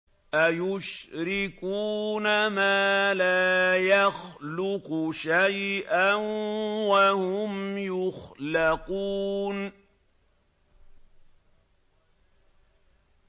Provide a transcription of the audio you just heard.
أَيُشْرِكُونَ مَا لَا يَخْلُقُ شَيْئًا وَهُمْ يُخْلَقُونَ